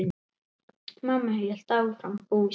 Mamma hélt áfram búskap.